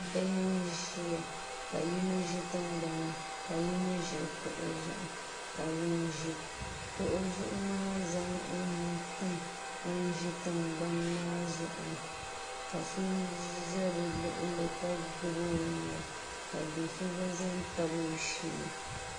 Bihi n ʒiya ka yino ʒi tingbani ni ka yino ʒi kuɣu zuɣu ka ŋun ʒi kuɣu zuɣu maa zaŋ o nuu tim ŋun ʒi tingbani maa zuɣu ni ka so ʒɛ bi luɣuli kq gbubi o nuwa ka do so gba ʒɛ n tabi o shee